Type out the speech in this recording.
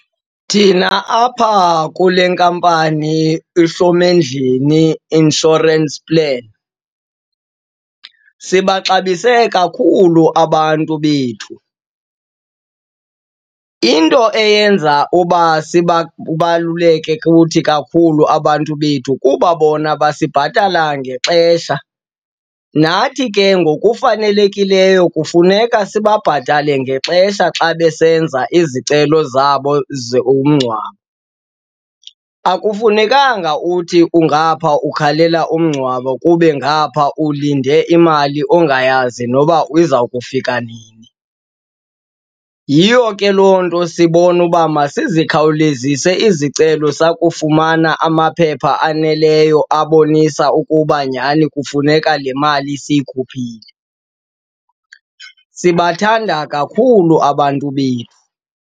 Thina apha kule nkampani iHlomendlini Insurance Plan, sibaxabise kakhulu abantu bethu. Into eyenza uba kubaluleke kuthi kakhulu abantu bethu kuba bona basibhatala ngexesha, nathi ke ngokufanelekileyo kufuneka sibabhatala ngexesha xa besenza izicelo zabo zomngcwabo. Akufunekanga uthi kungapha ukhalela umngcwabo kube ngapha ulinde imali ongayazi noba iza kufika nini. Yiyo ke loo nto sibone uba masikhawulezise izicelo sakufumana amaphepha aneleyo abonise ukuba nyhani kufuneka le mali siyikhuphile. Sibathanda kakhulu abantu bethu.